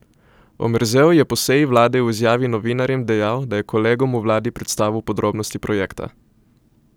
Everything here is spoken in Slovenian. Omerzel je po seji vlade v izjavi novinarjem dejal, da je kolegom v vladi predstavil podrobnosti projekta.